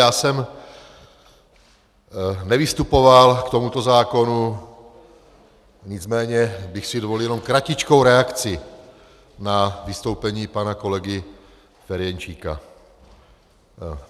Já jsem nevystupoval k tomuto zákonu, nicméně bych si dovolil jenom kratičkou reakci na vystoupení pana kolegy Ferjenčíka.